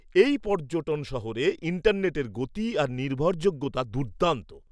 এই পর্যটন শহরে ইন্টারনেটের গতি আর নির্ভরযোগ্যতা দুর্দান্ত।